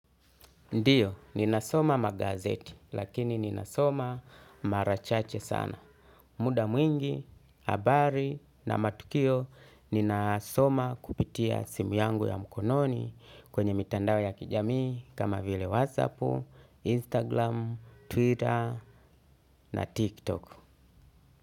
Ndio ninasoma magazeti lakini ninasoma mara chache sana. Muda mwingi, habari na matukio ninasoma kupitia simu yangu ya mkononi kwenye mitandao ya kijamii kama vile whatsappu, instagram, twitter na tiktok.